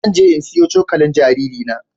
Zan je in sayo cokalin jaririna.